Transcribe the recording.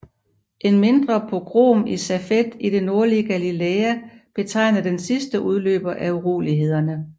En mindre pogrom i Safed i det nordlige Galilæa betegnede den sidste udløber af urolighederne